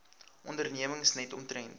ondernemings net omtrent